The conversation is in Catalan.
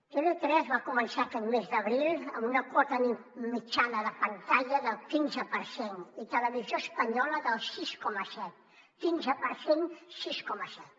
tv3 va començar aquest mes d’abril amb una quota mitjana de pantalla del quinze per cent i televisió espanyola del sis coma set quinze per cent sis coma set